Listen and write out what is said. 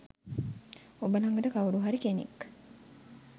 ඔබ ළඟට කවුරු හරි කෙනෙක්